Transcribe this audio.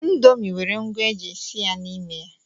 Indomi nwere ngwa eji esi ya n'ime ya.